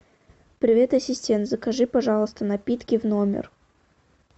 привет ассистент закажи пожалуйста напитки в номер